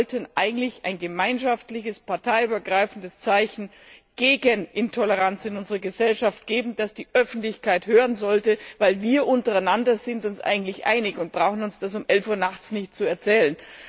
Wir wollten eigentlich ein gemeinschaftliches, parteiübergreifendes Zeichen gegen Intoleranz in unserer Gesellschaft setzen, das die Öffentlichkeit sehen sollte, denn untereinander sind wir uns eigentlich einig und brauchen uns das um elf Uhr nachts nicht zu erzählen.